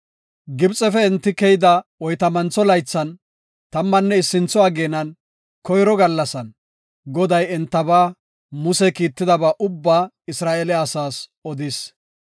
Gibxefe enti keyida oytamantho laythan, tammanne issintho ageenan, koyro gallasan, Goday entaba Muse kiittidaba ubbaa Isra7eele asaas odis.